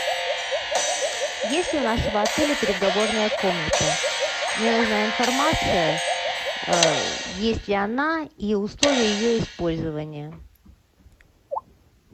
есть ли у нашего отеля переговорная комната мне нужна информация есть ли она и условия ее использования